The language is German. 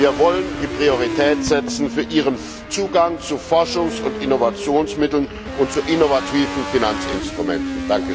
Wir wollen die Priorität setzen für ihren Zugang zu Forschungs und Innovationsmitteln und zu innovativen Finanzinstrumenten.